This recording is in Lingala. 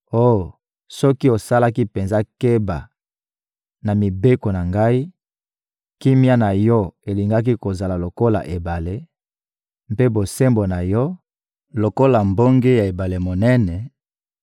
Oh! Soki osalaki penza keba na mibeko na Ngai, kimia na yo elingaki kozala lokola ebale, mpe bosembo na yo, lokola mbonge ya ebale monene;